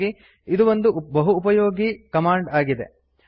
ಹಾಗಾಗಿ ಇದು ಒಂದು ಬಹೂಪಯೋಗೀ ಕಮಾಂಡ್ ಆಗಿದೆ